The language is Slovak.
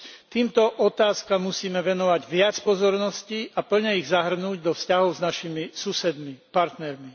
Týmto otázkam musíme venovať viac pozornosti a plne ich zahrnúť do vzťahov s našimi partnermi.